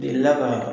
Delila ka